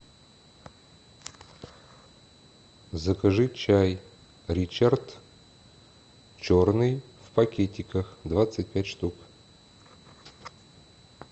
закажи чай ричард черный в пакетиках двадцать пять штук